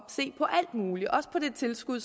se på alt muligt også på det tilskud